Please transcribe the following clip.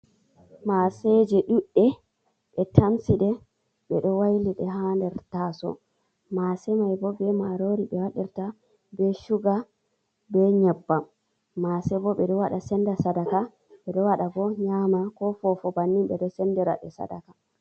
Mase je duɗɗe. Ɓe tamsiɗe, ɓe ɗo wailiɗe ha nder taso. Mase mai bo, be marori ɓe wadirta, be shuga be nyebbam. Mase bo, ɓe ɗo waɗa senda sadaka. Ɓe ɗo waɗa bo be nyama, ko fofo bannin ɓe ɗo sende ɗe sadaka.